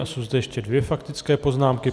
A jsou zde ještě dvě faktické poznámky.